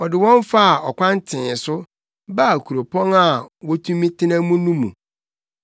Ɔde wɔn faa ɔkwan tee so baa kuropɔn a wotumi tena mu no mu.